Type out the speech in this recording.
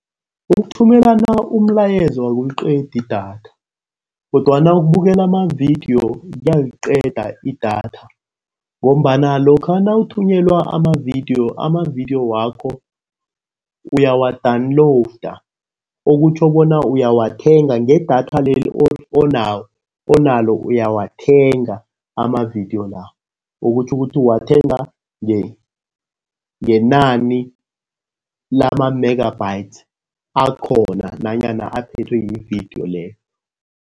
Ukuthumelana umlayezo akuliqedi idatha kodwana ukubukela amavidiyo kuyaliqeda idatha ngombana lokha nawuthunyelwa amavidiyo. Amavidiyo wakho uyawa-download. Okutjho bona uyawathenga ngedatha leli onalo uyawathenga amavidiyo la. Okutjho ukuthi uwathenga ngenani lama-megabytes akhona nanyana aphethwe yividiyo leyo.